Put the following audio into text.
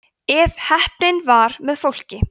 ef heppnin var með fólki